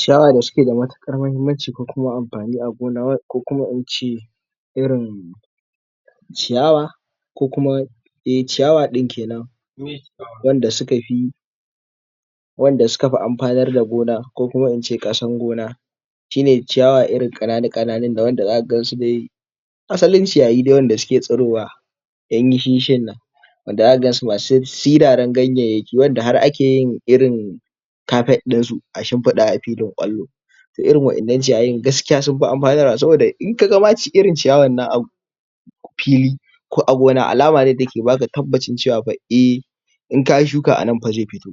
Shawara da suke da matuƙar mahimmanci ko kuma amfani a gona ko kuma ince irin ciyawa ko kuma eh ciyawa ɗin kenan wanda suka fi wanda suka fi amfanar da gona ko kuma ince ƙasan gona shine ciyawa irin ƙananu-ƙananun nan wanda zaka gan su dai asalin ciyayi dai wanda suke tsirowa ɗan yishi-yishin nan wanda zaka gan su masu siraran ganyenyaki wanda har ake yin irin carpet ɗin su a shimfiɗa a filin ƙwallo to irin waƴannan ciyayin gaskiya sun fi amfanar wa, saboda in kaga ma irin ciyawan nan abu fili ko a gona alama ne da yake baka tabbacin cewa fa eh in kayi shuka anan fa zai fito